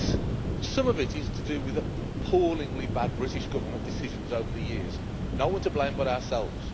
Yes, some of it is to do with appallingly bad British Government decisions over the years no one to blame but ourselves.